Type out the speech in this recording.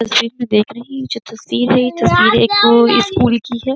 तस्वीर में देख रहे हैं। यह जो तस्वीर है। यह तस्वीर एक स्कूल की है।